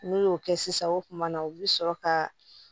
N'u y'o kɛ sisan o kumana u bi sɔrɔ ka